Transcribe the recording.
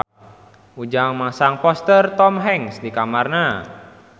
Ujang masang poster Tom Hanks di kamarna